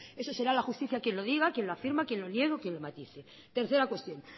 eso será la justicia quien lo diga quien lo afirma quien lo niega o quien lo matice tercera cuestión